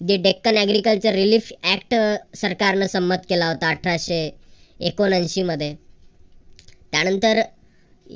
deccan agriculture relief act सरकारनं संमत केला होता. अठराशे एकोणऐशी मध्ये त्यानंतर